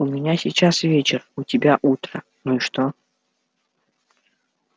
у меня сейчас вечер у тебя утро ну и что